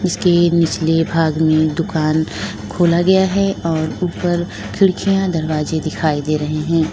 इसके निचले भाग में दुकान खोला गया है और ऊपर खिड़कियां दरवाजे दिखाई दे रहे हैं।